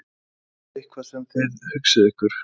Er það eitthvað sem þið hugsið ykkur?